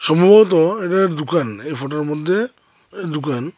সম্ভবত এটা একটা দুকান এই ফটোর মধ্যে এ দুকান ।